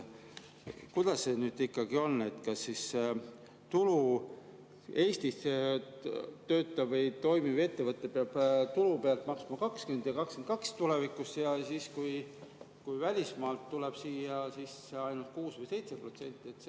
Kuidas see ikkagi on, kas Eestis toimiv ettevõte peab tulu pealt maksma 20% ja tulevikus 22% ja siis, kui välismaalt tuleb siia, siis ainult 6% või 7%?